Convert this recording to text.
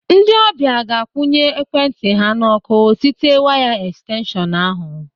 Ndị ọbịa ga-akwụnye ekwentị ha n'ọ́kụ́ site waya ẹkstenshọn ahụ.